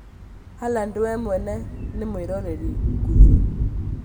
Halaad we mwene nĩ mwĩrori ngũthi